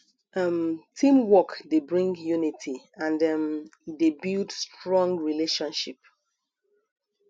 um teamwork de bring unity and um e de build strong relationship